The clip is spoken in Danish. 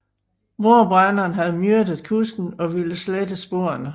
Mordbrænderen havde myrdet kusken og ville slette sporene